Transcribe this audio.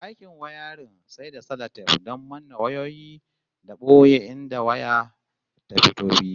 Aikin wiring sai da salatef don manne wayoyi da boye inda waya ta fito fili